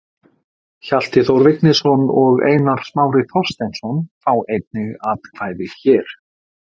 Hjalti Þór Vignisson og Einar Smári Þorsteinsson fá einnig atkvæði hér.